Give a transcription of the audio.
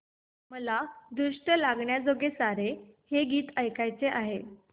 मला दृष्ट लागण्याजोगे सारे हे गीत ऐकायचे आहे